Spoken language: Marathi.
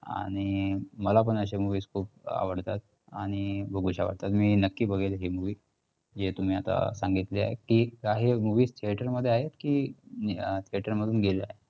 आणि मला पण अशे movies खूप आवडतात. आणि बघूशा वाटतात. मी नक्की बघेल हे movie जे तुम्ही आता सांगितले आहे की काय हे movie theatre मध्ये आहे की अं theatre मधून गेल्या